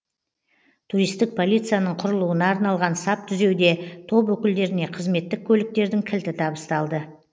туристік полицияның құрылуына арналған сап түзеуде топ өкілдеріне қызметтік көліктердің кілті табысталды